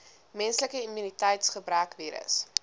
menslike immuniteitsgebrekvirus